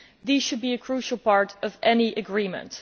These should be a crucial part of any agreement.